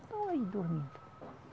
aí dormindo.